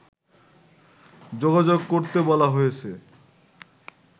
যোগাযোগ করতে বলা হয়েছে